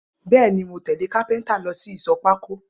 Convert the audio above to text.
Bẹẹni, mo tẹle kàpẹntà lọ si Ìsọ pàkó.